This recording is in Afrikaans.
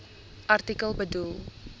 artikel bedoel